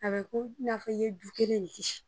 A bi ko i n'a fɔ i ye du kelen le kisi